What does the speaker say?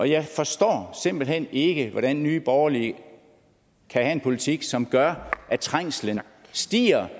jeg forstår simpelt hen ikke hvordan nye borgerlige kan have en politik som gør at trængslen stiger